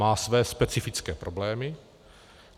Má své specifické problémy.